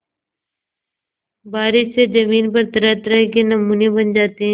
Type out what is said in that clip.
बारिश से ज़मीन पर तरहतरह के नमूने बन जाते हैं